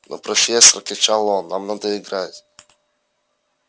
но профессор кричал он нам надо играть